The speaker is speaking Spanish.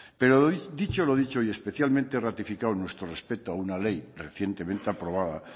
pero dicho lo dicho y especialmente ratificado nuestro respeto a una ley recientemente aprobada